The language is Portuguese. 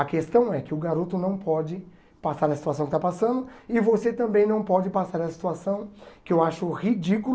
A questão é que o garoto não pode passar nessa situação que está passando e você também não pode passar nessa situação que eu acho ridículo